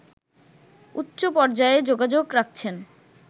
উচ্চ পর্যায়ে যোগাযোগ রাখছেন